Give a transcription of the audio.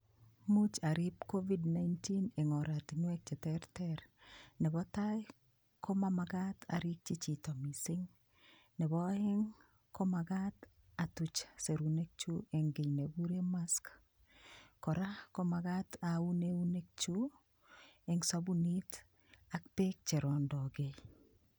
Muuch arip COVID-19 eng' oratinwek cheterter nebo tai ko mamakat arikchi chito mising' nebo oeng' komakat atuch serunekchu eng' kii nekikure mask kora komakat aun eunek chu eng' sabunit ak beek cherondokei